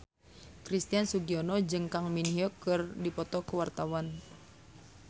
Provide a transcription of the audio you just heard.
Christian Sugiono jeung Kang Min Hyuk keur dipoto ku wartawan